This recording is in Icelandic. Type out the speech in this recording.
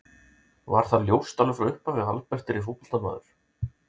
Var það ljóst alveg frá upphafi að Albert yrði fótboltamaður?